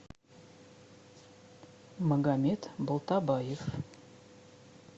магомед балтобаев